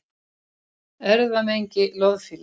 Erfðamengi loðfíla